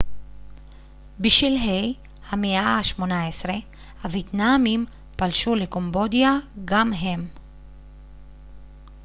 בשלהי המאה ה-18 הוייטנאמים פלשו לקמבודיה גם הם